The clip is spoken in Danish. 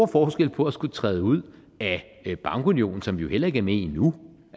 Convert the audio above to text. forskel på at skulle træde ud af bankunionen som vi jo heller ikke er med i nu